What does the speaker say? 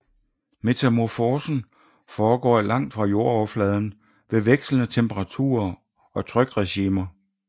Metamorfosen foregår langt fra jordoverfladen ved vekslende temperaturer og trykregimer